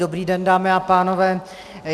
Dobrý den, dámy a pánové.